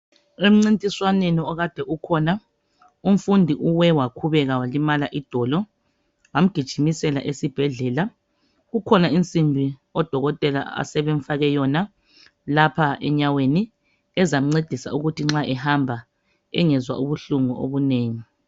Emncintisanweni okade ukhona umfundi uwe wakhubeka walimala idolo bamgijimisela esibhedlela kukhona insimbi odokotela abasebemfake yona lapha enyaweni ezamncedisa ukuthi nxa ehamba engezwa ubuhlungu obunengi.